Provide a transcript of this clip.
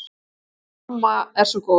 Hún amma er svo góð